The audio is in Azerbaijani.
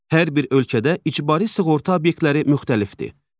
Hər bir ölkədə icbari sığorta obyektləri müxtəlifdir.